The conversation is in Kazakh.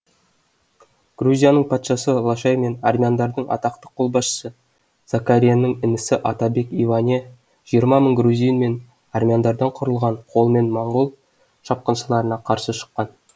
грузияның патшасы лашай мен армяндардың атақты қолбасшысы закаренің інісі атабек иване жиырма мың грузин мен армяндардан құрылған қолмен монғол шапқыншыларына қарсы шыққан